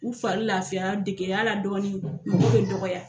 U fari lafiya degey'a la dɔɔnin, mɔgɔ bɛ dɔgɔya